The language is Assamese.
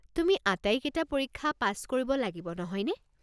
তুমি আটাইকেইটা পৰীক্ষা পাছ কৰিব লাগিব নহয়নে?